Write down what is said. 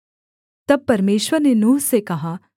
तब परमेश्वर ने नूह से कहा